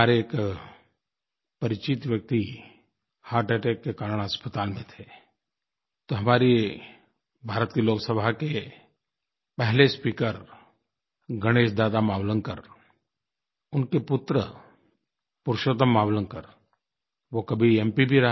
हमारे एक परिचित व्यक्ति हर्ट अटैक के कारण अस्पताल में थे तो हमारे भारत के लोक सभा के पहले स्पीकर गणेश दादा मावलंकर उनके पुत्र पुरुषोत्तम मावलंकर वो कभी mप